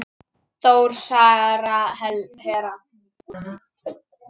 Þór, Sara, Hera.